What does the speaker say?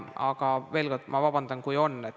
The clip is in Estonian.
Aga veel kord: ma palun vabandust, kui neid on.